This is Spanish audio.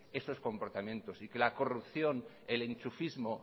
esos comportamiento y que la corrupción el enchufismo